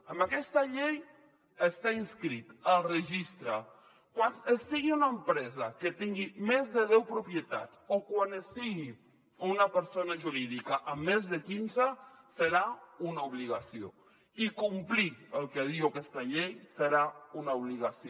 amb aquesta llei estar inscrit al registre quan es sigui una empresa que tingui més de deu propietats o quan es sigui una persona jurídica amb més de quinze serà una obligació i complir el que diu aquesta llei serà una obligació